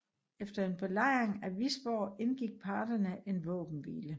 Efter en belejring af Visborg indgik parterne en våbenhvile